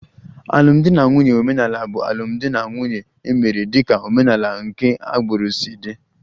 Alụmdi na nwunye omenala bụ alụmdi na nwunye e mere dịka omenala nke agbụrụ si dị